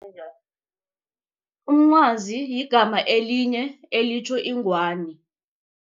Umncwazi yigama elinye elitjho ingwani.